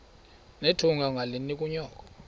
nethunga ungalinik unyoko